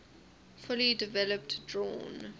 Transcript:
fully developed drawn